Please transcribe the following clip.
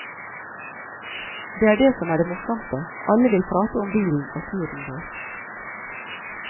Det er det som er det morsomste, alle vil prate om bilen og turen vår.